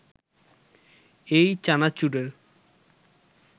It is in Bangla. এই চানাচুরের